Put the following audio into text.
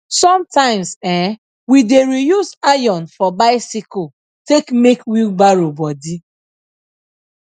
sometimes eh we dey reuse iron for biccyle take make wheelbarrow body